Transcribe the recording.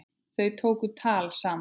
Þau tóku tal saman.